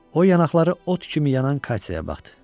O yanaqları ot kimi yanan Katyaya baxdı.